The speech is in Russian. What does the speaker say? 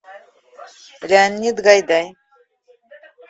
леонид гайдай